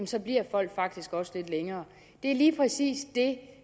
så bliver folk faktisk også lidt længere det er lige præcis det